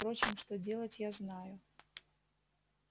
впрочем что делать я знаю